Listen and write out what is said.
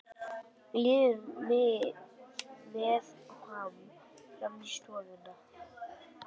Líður með hann fram í stofuna.